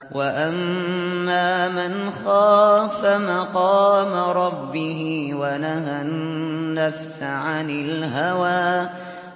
وَأَمَّا مَنْ خَافَ مَقَامَ رَبِّهِ وَنَهَى النَّفْسَ عَنِ الْهَوَىٰ